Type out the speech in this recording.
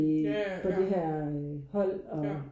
Ja ja. Ja. Ja